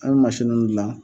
An bɛ mansiniw dilan.